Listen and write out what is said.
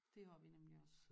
Det har vi nemlig også